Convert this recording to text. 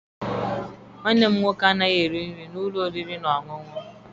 Nwanne m nwoke anaghị eri nri n'ụlọ oriri na ọṅụṅụ.